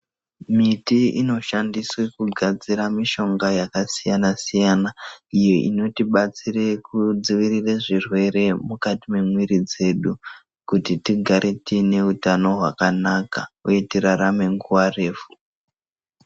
Miti inoshandiswe kugadzira mishonga yakasiyanasiyana iyo inotibatsire kudziirire zvirwere mukati mwemwiri dzedu kuti tigare tiine utano hwakanaka uye tirarame nguva refu.